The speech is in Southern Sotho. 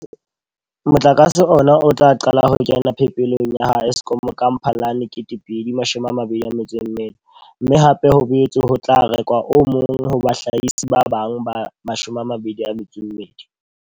Motlakase ona o tla qala ho kena phepelong ya ha Eskom ka Mphalane 2024, mme hape ho boetse ho tla rekwa o mong ho bahlahisi ba bang ba 22.